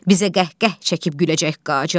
Bizə qəhqəh çəkib güləcək Qacar.